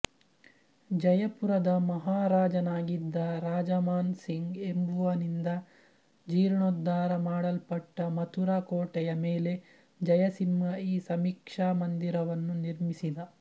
ಜಯಪುರದ ಮಹಾರಾಜನಾಗಿದ್ದ ರಾಜಾಮಾನ್ ಸಿಂಗ್ ಎಂಬುವನಿಂದ ಜೀರ್ಣೋದ್ಧಾರ ಮಾಡಲ್ಪಟ್ಟ ಮಥುರಾ ಕೋಟೆಯ ಮೇಲೆ ಜಯಸಿಂಹ ಈ ಸಮೀಕ್ಷಾ ಮಂದಿರವನ್ನು ನಿರ್ಮಿಸಿದ